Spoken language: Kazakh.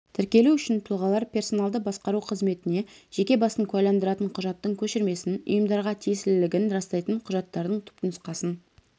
тіркелу үшін тұлғалар персоналды басқару қызметіне жеке басын куәландыратын құжаттың көшірмесін ұйымдарға тиесілілігін растайтын құжаттардың түпнұсқасын